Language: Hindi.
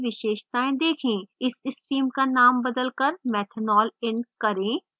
इस stream का name बदलकर methanol in करें